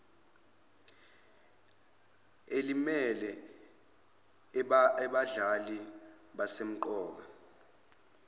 elimele abadlali abasemqoka